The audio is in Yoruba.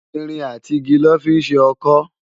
Irin àtí igi lò fi n ṣé òkõ